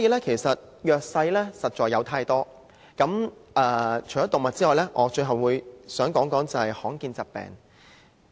其實弱勢的群體實在有太多，除動物之外，最後我想談談罕見疾病。